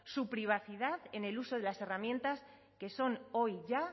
su privacidad en el uso de las herramientas que son hoy ya